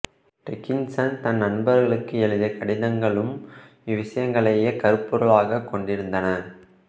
Dickinson தன் நண்பர்களுக்கு எழுதிய கடிதங்களும் இவ்விசயங்களையே கருப்பொருள்களாகக் கொண்டிருந்தன